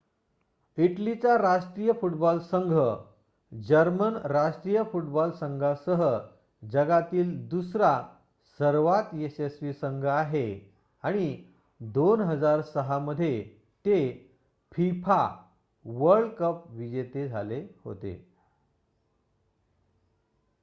इटलीचा राष्ट्रीय फूटबॉल संघ जर्मन राष्ट्रीय फूटबॉल संघासह जगातील दुसरा सर्वांत यशस्वी संघ आहे आणि २००६ मध्ये ते fifa वर्ल्ड कप विजेते झाले होते